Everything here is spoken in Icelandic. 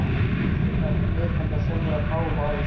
Vissi að þetta beið hennar sjálfrar fáum árum síðar.